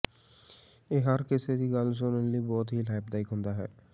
ਇਹ ਹਰ ਕਿਸੇ ਦੀ ਗੱਲ ਸੁਣਨ ਲਈ ਬਹੁਤ ਹੀ ਲਾਭਦਾਇਕ ਹੁੰਦਾ ਹੈ